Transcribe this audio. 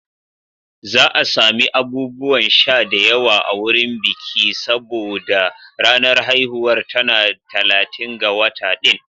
Za a sami abubuwan sha da yawa a wurin biki saboda ranar haihuwar ta na talatin ga wata ɗin.